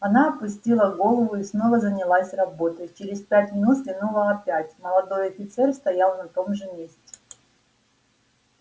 она опустила голову и снова занялась работой через пять минут взглянула опять молодой офицер стоял на том же месте